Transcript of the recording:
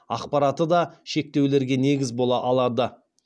ақпараты да шектеулерге негіз бола алады